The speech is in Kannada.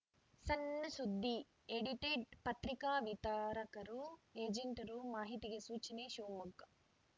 ಸಣ್‌ ಸುದ್ದಿ ಎಡಿಟೆಡ್‌ ಪತ್ರಿಕಾ ವಿತರಕರು ಏಜೆಂಟರು ಮಾಹಿತಿಗೆ ಸೂಚನೆ ಶಿವಮೊಗ್ಗ